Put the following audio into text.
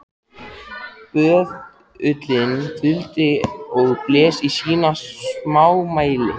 Böðullinn þuldi og blés í sínu smámæli